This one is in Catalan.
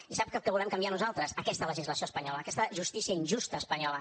i sap què volem canviar nosaltres aquesta legislació espanyola aquesta justícia injusta espanyola